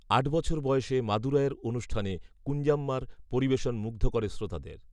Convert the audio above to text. আট বছর বয়সে মাদুরাইয়ের অনুষ্ঠানে কূঞ্জাম্মার পরিবেশন মুগ্ধ করে শ্রোতাদের